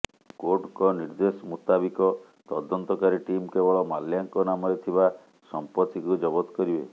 କୋର୍ଟଙ୍କ ନିର୍ଦ୍ଦେଶ ମୁତାବିକ ତଦନ୍ତକାରୀ ଟିମ୍ କେବଳ ମାଲ୍ୟାଙ୍କ ନାମରେ ଥିବା ସମ୍ପତ୍ତିକୁ ଜବତ କରିବେ